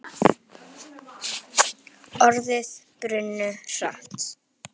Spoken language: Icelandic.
Orðin brunnu hratt.